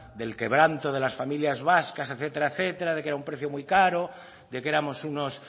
del quebranto de las familias vascas etcétera etcétera de que era un precio muy caro de que éramos unos